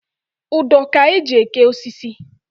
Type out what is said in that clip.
Ụdọ ka-eji eke osisi.